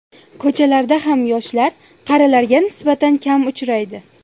Ko‘chalarda ham yoshlar qarilarga nisbatan kam uchraydi.